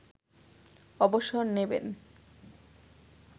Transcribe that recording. অবসর নেবেন